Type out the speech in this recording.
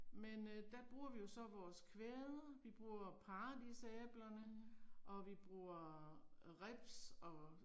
Men øh der bruger vi jo så vores kvæde, vi bruger paradisæblerne, og vi bruger øh ribs og